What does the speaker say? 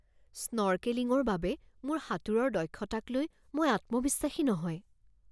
স্নৰ্কেলিঙৰ বাবে মোৰ সাঁতোৰৰ দক্ষতাকলৈ মই আত্মবিশ্বাসী নহয়।